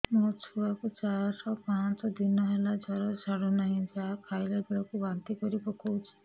ମୋ ଛୁଆ କୁ ଚାର ପାଞ୍ଚ ଦିନ ହେଲା ଜର ଛାଡୁ ନାହିଁ ଯାହା ଖାଇଲା ବେଳକୁ ବାନ୍ତି କରି ପକଉଛି